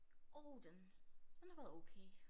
Åh den den har været okay